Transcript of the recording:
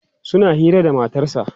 suna Hira da matarsa